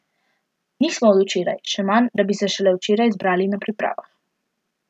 Nismo od včeraj, še manj, da bi se šele včeraj zbrali na pripravah.